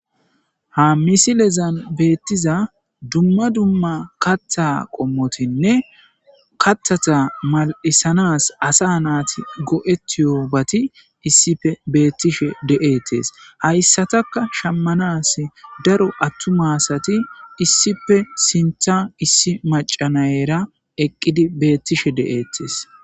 Ha misilezan beettiza dumma dumma kaththa qommotinne kaththata mal7isanas asa naati go7ettiyoobati issippe beettishe de7ettes hayssataka shammanas daro attuma asati issippe sinththa issi macanayera eqqidi bettishe de7ettes.